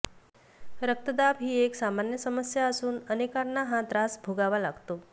रक्तदाब हि एक सामान्य समस्या असून अनेकांना हा त्रास भोगावा लागतो